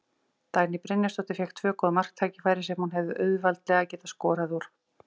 Dagný Brynjarsdóttir fékk tvö góð marktækifæri sem hún hefði auðveldlega getað skorað úr.